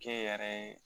Ke yɛrɛ ye